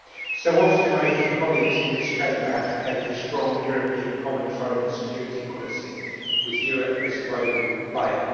So often I hear colleagues in this Chamber advocate a strong European common foreign and security policy, with Europe as a global player.